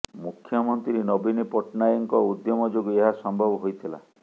ମୁଖ୍ୟମନ୍ତ୍ରୀ ନବୀନ ପଟ୍ଟନାୟକଙ୍କ ଉଦ୍ୟମ ଯୋଗୁଁ ଏହା ସମ୍ଭବ ହୋଇଥିଲା